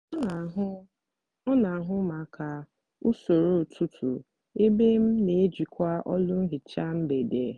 ọ n'ahụ ọ n'ahụ maka usoro ụtụtụ ebe m n'ejikwa ọlụ nhicha mgbede